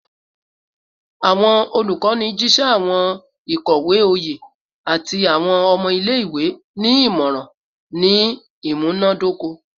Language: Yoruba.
Awọn olukọni jiṣẹ awọn ikowe oye ati awọn ọmọ ile-iwe ni imọran ni imunadoko